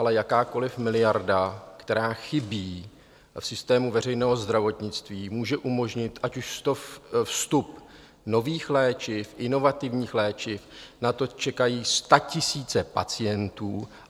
Ale jakákoliv miliarda, která chybí v systému veřejného zdravotnictví, může umožnit ať už vstup nových léčiv, inovativních léčiv, na to čekají statisíce pacientů.